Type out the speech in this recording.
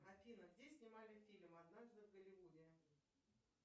афина где снимали фильм однажды в голливуде